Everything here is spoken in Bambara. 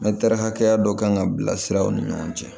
hakɛya dɔ kan ka bila siraw ni ɲɔgɔn cɛ